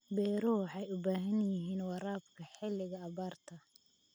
Beeruhu waxay u baahan yihiin waraabka xilliga abaarta.